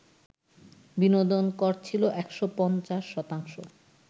বিনোদন কর ছিল ১৫০ শতাংশ